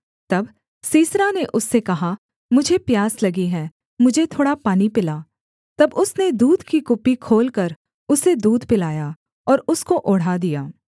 तब सीसरा ने उससे कहा मुझे प्यास लगी है मुझे थोड़ा पानी पिला तब उसने दूध की कुप्पी खोलकर उसे दूध पिलाया और उसको ओढ़ा दिया